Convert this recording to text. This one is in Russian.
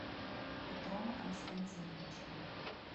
петром константиновичем